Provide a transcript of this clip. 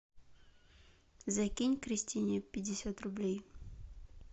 закинь кристине пятьдесят рублей